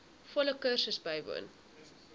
volle kursus bywoon